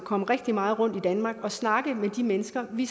komme rigtig meget rundt i danmark og snakke med de mennesker vi